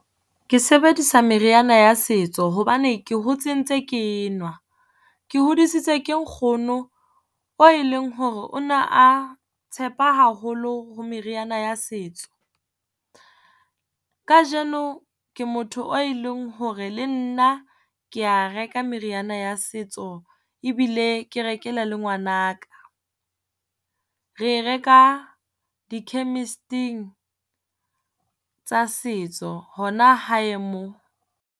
Ke sebedisa meriana ya setso hobane ke hotse ntse ke e nwa. Ke hodisitswe ke nkgono oo e leng hore o ne a tshepa haholo ho meriana ya setso. Kajeno ke motho o e leng hore le nna ke ya reka meriana ya setso. Ebile ke rekela le ngwana ka, re e reka di-chemist-ing tsa setso hona hae mo.